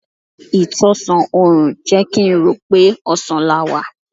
Ìtọ̀sán òrùn jẹ́ kín rò pé ọ̀sán la wá.